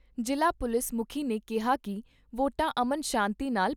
ਜ਼ਿਲ੍ਹਾ ਪੁਲਿਸ ਮੁਖੀ ਨੇ ਕਿਹਾ ਕਿ ਵੋਟਾਂ ਅਮਨ ਸ਼ਾਂਤੀ ਨਾਲ